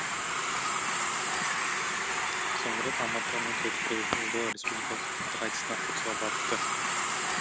соңғы рет алматыға мың тоғыз жүз қырық үшінші жылы республикалық ақындар айтысына қатысуға барыпты